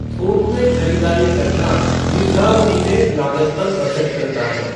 थोक में खरीदारी करना दीर्घावधि में लागत पर बचत करता है।